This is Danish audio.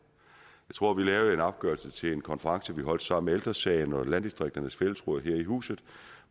tror at vi lavede en opgørelse til en konference vi holdt sammen med ældre sagen og landdistrikternes fællesråd her i huset